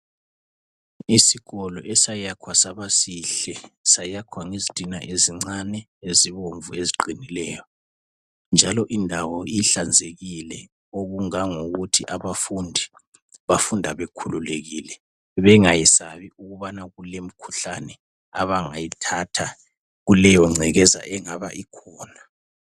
Isikolo esayakhwa saba sihle, sayakhwa ngezitina ezincane ezibomvu eziqinileyo. Njalo indawo ihlanzekile okungangokuthi abafundi bafunda bekhululekile, bengayesabi ukubana kulemikhuhlane abangayithatha kuleyo ngcekeza engaba ikhona.